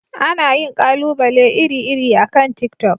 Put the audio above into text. Ana yin ƙalubale iri-iri akan tiktok.